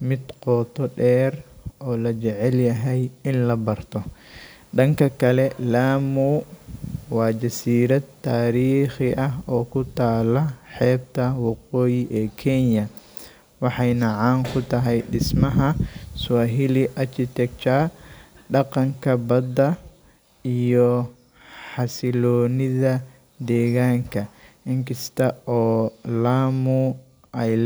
mid qooto dher o lajecel yahay in labarto danka kale Lamu wa Jasirad tarikhi aah kutala xeebta waqooyi e Kenya waxayna caan kutahay dismaha Suwaheli architecture iyo xasilonida deganka inkasta oo Lamu ay ledahy